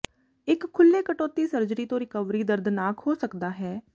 ਇੱਕ ਖੁੱਲੇ ਕਟੌਤੀ ਸਰਜਰੀ ਤੋਂ ਰਿਕਵਰੀ ਦਰਦਨਾਕ ਹੋ ਸਕਦਾ ਹੈ